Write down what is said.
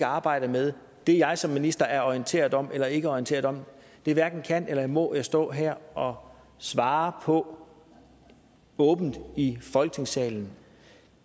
arbejde med det jeg som minister er orienteret om eller ikke er orienteret om hverken kan eller må jeg stå her og svare på åbent i folketingssalen